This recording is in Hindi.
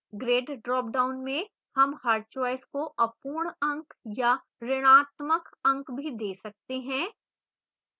grade dropdown में हम हर choice को अपूर्ण अंक या ऋणात्मक अंक भी दे सकते हैं